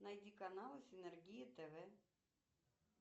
найди каналы синергия тв